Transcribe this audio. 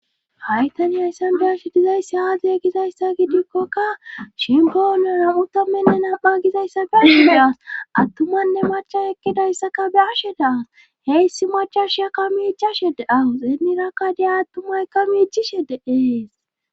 Haytani ayssan deyashi dizayssi haade gizayssa gidikkoka shimboonera utommenne nam"a gizayssa be ashe de as attumanne macha ekkidayssaka be ashe daas heyssi machasha ka miichashede awu xeenirakkadiya attumay ka miichi shedeees